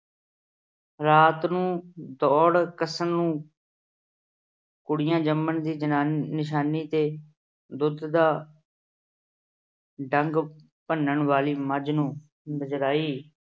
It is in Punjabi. ਰਾਤ ਨੂੰ ਦੌਣ ਕੱਸਣ ਨੂੰ ਕੁੜੀਆਂ ਜੰਮਣ ਦੀ ਜਨਾਨੀ ਅਹ ਨਿਸ਼ਾਨੀ ਤੇ ਦੁੱਧ ਦਾ ਡੰਗ ਭੰਨਣ ਵਾਲੀ ਮੱਝ ਨੂੰ ਬਜਰਾਈ